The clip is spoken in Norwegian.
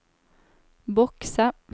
bokse